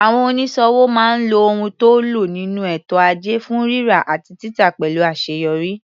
Àwọn onísòwò máa ń lo ohun tó ń lo nínú ètò ajé fún rírà àti títà pẹ̀lú àṣeyọrí.